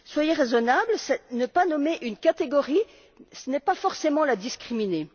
Soyez raisonnables, ne pas nommer une catégorie, ce n'est pas forcément la discriminer.